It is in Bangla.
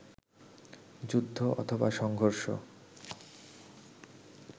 যুদ্ধ অথবা সংঘর্ষ